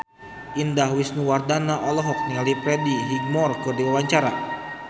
Indah Wisnuwardana olohok ningali Freddie Highmore keur diwawancara